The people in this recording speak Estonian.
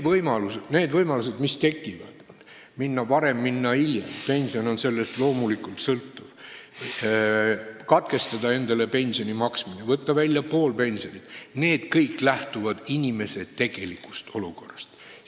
Kõik need võimalused, mis tekivad – minna pensionile varem, minna pensionile hiljem, kusjuures pension loomulikult on sellest sõltuv, katkestada endale pensioni maksmine, võtta välja pool pensioni –, lähtuvad inimese tegelikust olukorrast.